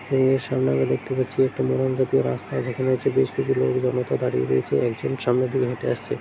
এর সামনে আমরা দেখতে পাচ্ছি একটি মোড়ঙ্গটির রাস্তা যেখানে হচ্ছে বেশকিছু লোকজন জমায়েত হয়ে দাঁড়িয়ে রয়েছে। একজক সামনে দিয়ে হেঁটে আসছে--